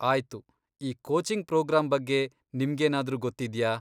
ಆಯ್ತು, ಈ coaching program ಬಗ್ಗೆ ನಿಮ್ಗೇನಾದ್ರೂ ಗೊತ್ತಿದ್ಯಾ?